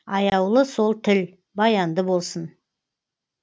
аяулы сол тіл баянды болсын